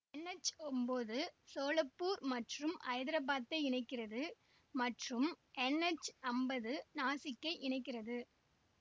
NH ஒம்போது சோலாப்பூர் மற்றும் ஹைதராபாத்தை இணைக்கிறது மற்றும் என்எச் அம்பது நாசிக்கை இணைக்கிறது